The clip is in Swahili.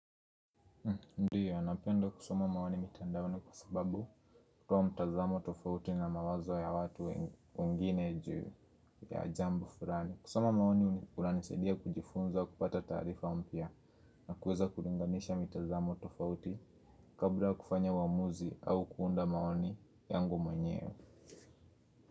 Ndiyo, napenda kusoma maoni mitandaoni kwa sababu hutoa mtazamo tofauti na mawazo ya watu wengine juu ya jambo fulani. Kusoma maoni kunaisaidia kujifunza kupata taarifa mpya na kuweza kulinganisha mitazamo tofauti kabla kufanya waamuzi au kuunda maoni yangu mwenyewe.